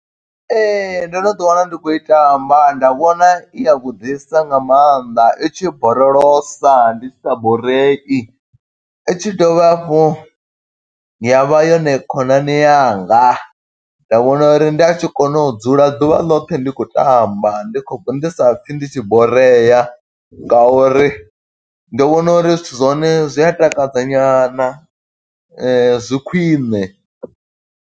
Ee, ndo no ḓi wana ndi khou i tamba, nda vhona iya vhuḓisa nga mannḓa i tshi borolosa ndi sa borei. I tshi dovha hafhu ya vha yone khonani yanga, nda vhona uri nda tshi kona u dzula ḓuvha ḽoṱhe ndi khou tamba ndi khou ndi sa pfi ndi tshi borea, nga uri ndi vhona uri zwithu zwa hone, zwi a takadza nyana zwi khwiṋe.